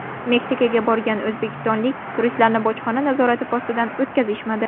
Meksikaga borgan o‘zbekistonlik turistlarni bojxona nazorat postidan o‘tkazishmadi.